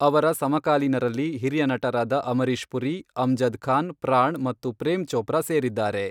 ಅವರ ಸಮಕಾಲೀನರಲ್ಲಿ ಹಿರಿಯ ನಟರಾದ ಅಮರೀಶ್ ಪುರಿ, ಅಮ್ಜದ್ ಖಾನ್, ಪ್ರಾಣ್ ಮತ್ತು ಪ್ರೇಮ್ ಚೋಪ್ರಾ ಸೇರಿದ್ದಾರೆ.